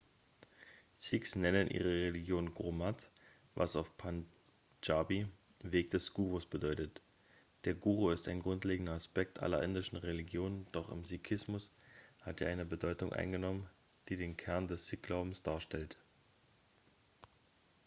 sikhs nennen ihre religion gurmat was auf pandschabi weg des gurus bedeutet der guru ist ein grundlegender aspekt aller indischen religionen doch im sikhismus hat er eine bedeutung eingenommen die den kern des sikh-glaubens darstellt